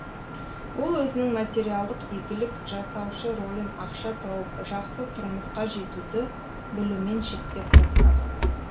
ол өзінің материалдық игілік жасаушы ролін ақша тауып жақсы тұрмысқа жетуді білумен шектеп тастаған